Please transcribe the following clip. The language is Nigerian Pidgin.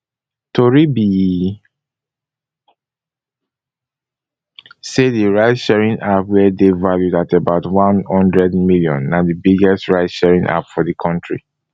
tori be say di ride sharing app wey dey valued at about one hundred million na di biggest ride sharing app for di kontri